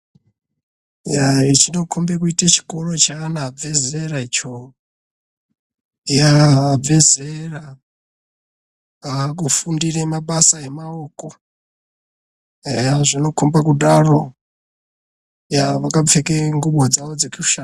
Yaa chinokhombe kuite chikoro cheana above zera icho. Yaaa abve zera, aakufundire mabasa emaoko. Aya zvinokhombe kudaro. Yaa vakapfeka ngubo dzavo dzekusha.